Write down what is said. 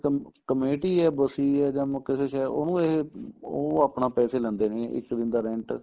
ਕਮ committee ਏ ਬਸੀ ਏ ਜਾਂ ਮੇ ਕਿਸੇ ਸ਼ਹਿਰ ਉਹਨੂੰ ਇਹ ਉਹ ਆਪਣਾ ਪੈਸੇ ਲੈਂਦੇ ਨੇ ਇੱਕ ਦਿਨ ਦਾ rent